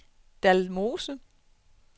Dalmose